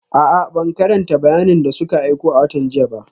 A'a, ban karanta bayanin da suka aiko a watan jiya ba